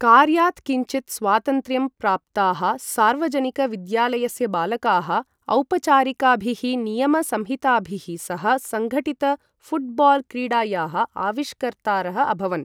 कार्यात् किञ्चित् स्वातन्त्र्यं प्राप्ताः सार्वजनिक विद्यालयस्य बालकाः औपचारिकाभिः नियम संहिताभिः सह सङ्घटित ऴुट्बाल् क्रीडायाः आविष्कर्तारः अभवन्।